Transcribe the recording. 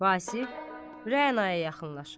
Vasif Rənaya yaxınlaşır.